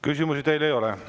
Küsimusi teile ei ole.